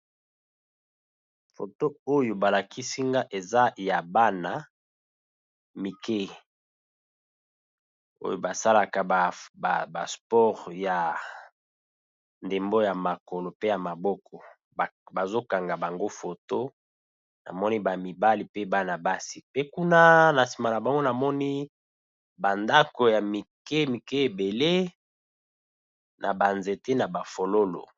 Photo oyo ba lakisi nga eza ya bana mike oyo ba salaka ba sport ya ndembo ya makolo pe ya maboko. Bazo kanga bango photo na moni ba mibali pe bana basi pe kuna na sima na bango na moni ba ndako ya mike mike ébélé na ba nzete na ba fololo .